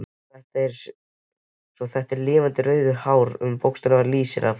Og svo þetta lifandi rauða hár sem bókstaflega lýsir af.